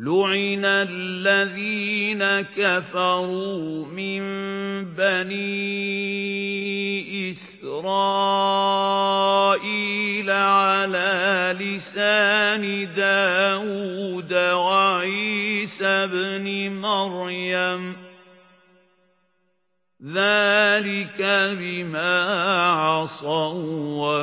لُعِنَ الَّذِينَ كَفَرُوا مِن بَنِي إِسْرَائِيلَ عَلَىٰ لِسَانِ دَاوُودَ وَعِيسَى ابْنِ مَرْيَمَ ۚ ذَٰلِكَ بِمَا عَصَوا